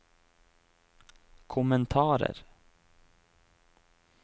kommentarer